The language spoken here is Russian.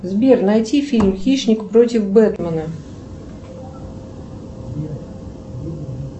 сбер найди фильм хищник против бэтмена